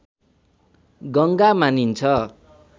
गङ्गा मानिन्छ